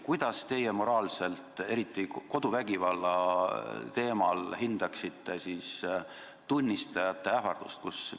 Kuidas teie koduvägivalla puhul hindate tunnistajate ähvardamist?